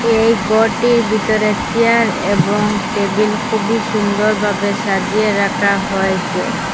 এই গরটির বিতরে চেয়ার এবং টেবিল খুবই সুন্দরভাবে সাজিয়ে রাকা হয়েসে।